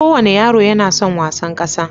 Kowane yaro yana son wasan ƙasa.